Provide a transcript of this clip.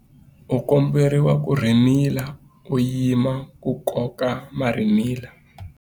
U komberiwa ku rhimila u yima ku koka marhimila.